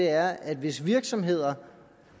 er at hvis virksomheder